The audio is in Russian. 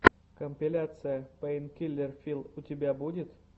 компиляция пэйнкиллер филл у тебя будет